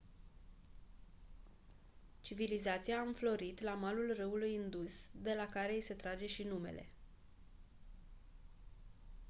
civilizația a înflorit la malul râului indus de la care i se trage și numele